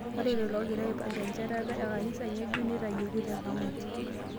Ore lelo oogira aipinga enchetata e kanisa ng'ejuk neitayioki tekamati